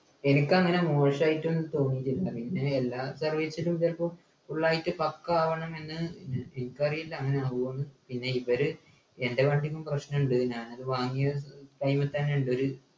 എനിക്കങ്ങനെ മോശായിട്ടും തോന്നിട്ടില്ല പിന്നെ എല്ലാ service നും ചിലപ്പോ full ആയിട്ട് പക്കാ ആവണംന്നെന്നെ ഏർ എനിക്കറീല അങ്ങനെ ആവൊന്ന് പിന്നെ ഇവര് എൻ്റെ വണ്ടിക്കും പ്രശ്നണ്ട് ഞാനത് വാങ്ങിയ time ൽ തന്നെ ണ്ടൊരു